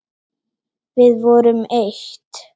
Við vorum eitt.